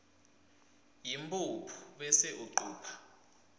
yimphuphu bese ucupha